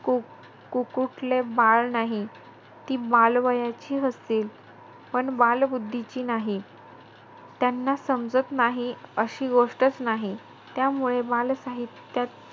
को~ कुकुटले बाळ नाही. ती बालवयाची असतील पण, बालबुद्धीची नाही. त्यांना समजत नाही अशी गोष्टचं नाही. त्यामुळे बालसाहित्यात,